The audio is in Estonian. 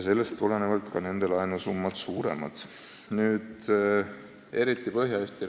Sellest tulenevalt on nende laenusummad märkimisväärsemad.